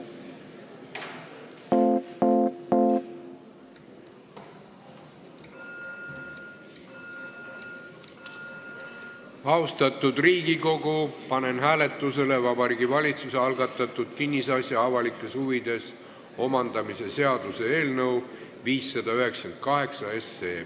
Austatud Riigikogu, panen hääletusele Vabariigi Valitsuse algatatud kinnisasja avalikes huvides omandamise seaduse eelnõu 598.